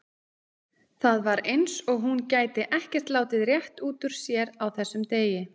Það var eins og hún gæti ekkert látið rétt út úr sér á þessum degi.